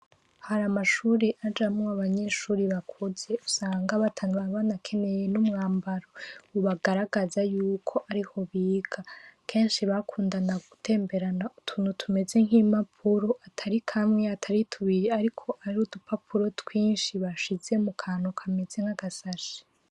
Hari amashure ajamwo abanyeshure bakuze usanga bataba banakeneye n'umwambaro ubagaragaza yuko ariho biga. Kenshi bakundana gutemberana utuntu tumeze nk'impapuro, atari kamwe, atari tubiri ariko ari udupapuro twinshi bashize mu kantu kameze nk'agashashe.